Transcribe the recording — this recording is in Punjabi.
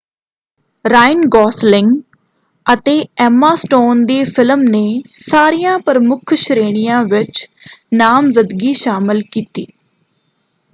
ਰਾਇਨ ਗੋਸਲਿੰਗ ਅਤੇ ਐਮਾ ਸਟੋਨ ਦੀ ਫਿਲਮ ਨੇ ਸਾਰੀਆਂ ਪ੍ਰਮੁੱਖ ਸ਼੍ਰੇਣੀਆਂ ਵਿੱਚ ਨਾਮਜ਼ਦਗੀ ਹਾਸਲ ਕੀਤੀ।